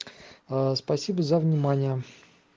спасибо за внимание